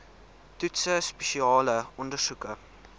toetse spesiale ondersoeke